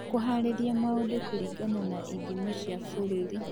Kũhaarĩria Maũndũ Kũringana na Ithimi cia Bũrũri: